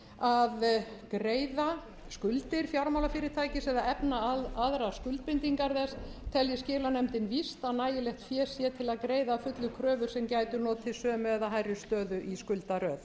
að greiða skuldir fjármálafyrirtækis eða efna aðrar skuldbindingar þess telji skilanefndin víst að nægilegt fé sé til þess að greiða að fullu kröfur sem geti notið sömu eða hærri stöðu í skuldaröð